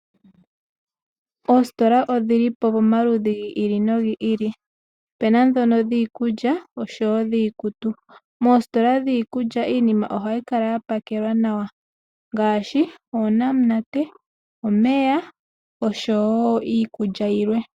Oositola odhili pomaludhi ga yooloka, opena ndhono dhii kulya, osho woo dhii kutu. Mo sitola dhii kulya , iinima ohayi kala ya pakelwa nawa. Ngaashi uunamunate , omeya , osho woo iikulya yilwe.